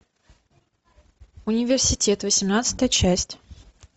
университет восемнадцатая часть